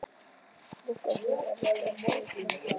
Bunkar af teikningum liggja eftir einn morgun.